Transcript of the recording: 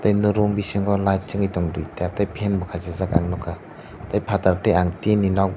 no room bisingo light chingoi tongo duita tei fan kasijak ang nogkha tei patar ti ang tin ni nog.